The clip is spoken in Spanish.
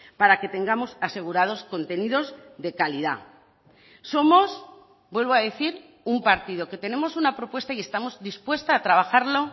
para que tengamos asegurados contenidos de calidad somos vuelvo a decir un partido que tenemos una propuesta y estamos dispuesta a trabajarlo